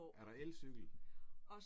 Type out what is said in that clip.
Er der elcykel?